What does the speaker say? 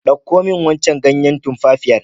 Ɗauko min wancan ganyen tumfafiyar.